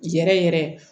Yɛrɛ yɛrɛ